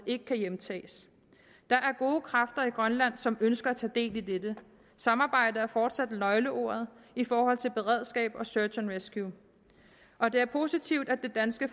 ikke kan hjemtages der er gode kræfter i grønland som ønsker at tage del i dette samarbejde er fortsat nøgleordet i forhold til beredskab og search and rescue og det er positivt at det danske